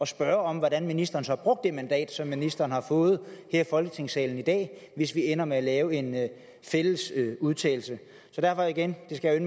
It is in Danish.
spørge om hvordan ministeren så brugte det mandat som ministeren har fået her i folketingssalen i dag hvis vi ender med at lave en fælles udtalelse så derfor igen det skal